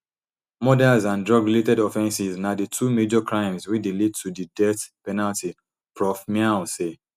murders and drugrelated offenses na di two major crimes wey dey lead to di death penalty prof miao say